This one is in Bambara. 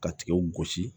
Ka tigɛw gosi